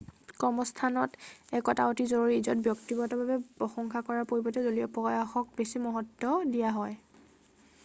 কৰ্মস্থানত একতা অতি জৰুৰী য'ত ব্যক্তিগত ভাৱে প্ৰসংশা কৰাৰ পৰিবৰ্তে দলীয় প্ৰয়াসক বেছি মহত্ব দিয়া হয়